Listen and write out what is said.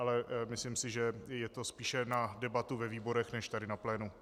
Ale myslím si, že je to spíše na debatu ve výborech než tady na plénu.